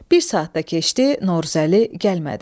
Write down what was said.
Bir saat da keçdi, Novruzəli gəlmədi.